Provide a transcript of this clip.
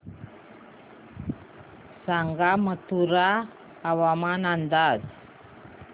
सांगा मथुरा हवामान अंदाज